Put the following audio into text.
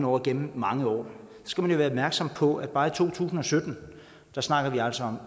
over igennem mange år skal man være opmærksom på at bare i to tusind og sytten snakker vi altså